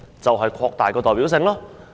正是要擴大其代表性。